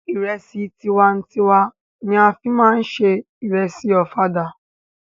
Ìrẹsì tiwa n tiwa ni a fí máa ń se ìrẹsì ọ̀fadà.